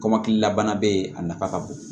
Kɔmɔkili la bana be yen a nafa ka bon